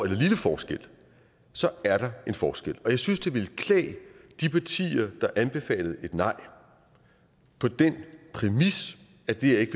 en lille forskel så er der en forskel og jeg synes det ville klæde de partier der anbefalede et nej på den præmis at det her ikke